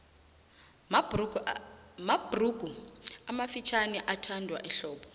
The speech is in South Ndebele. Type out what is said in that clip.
mabhurugu amafutjhaniathandwa ehlobo